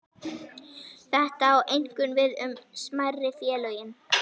Þetta á einkum við um smærri félögin.